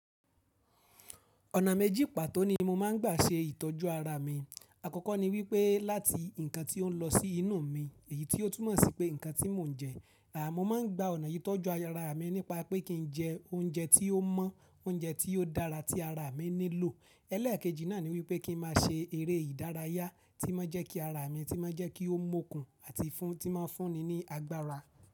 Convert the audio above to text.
Ọ̀nà méjì pàtó ni mo máa ń gbà ṣe ìtọ́jú ara mi. Àkọ́kọ́ ni wípé láti ǹkan tí ó ń lọ sí inú mi, èyí tí ó túmọ̀ sí pé ǹkan tí mò ń jẹ. Rárá, mo máa ń gba ọ̀nà yìí tọ́jú ara mi nípa pé kí n jẹ oúnjẹ tí ó mọ́, oúnjẹ tí ó dára tí ara mi nílò. Ẹ̀lẹ́ẹ̀kejì náà ni wípé kí n má a ṣe eré ìdárayá tí ó máa jẹ́ kí ara mi, tí ó máa jẹ́ kí ó mọkùn àti fún, tí ó máa fún mi ní agbára.